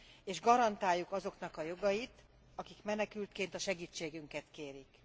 és garantáljuk azoknak a jogait, akik menekültként a segítségünket kérik.